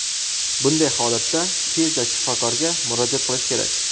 Bunday holatda tezda shifokorga murojaat qilish kerak.